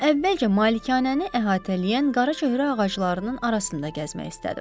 Amma əvvəlcə malikanəni əhatələyən qaraçöhrə ağaclarının arasında gəzmək istədim.